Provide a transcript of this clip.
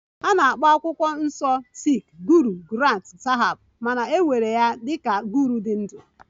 A na-akpọ akwụkwọ nsọ sikh Guru Granth sahib ma na-ewere ya dị ka Guru dị ndụ